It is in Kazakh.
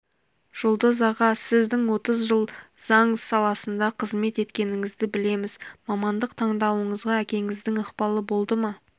жұлдыз аға сіздің отыз жыл заң саласында қызмет еткеніңізді білеміз мамандық таңдауыңызға әкеңіздің ықпалы болды ма